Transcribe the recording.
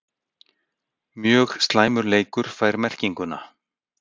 Mjög slæmur leikur fær merkinguna??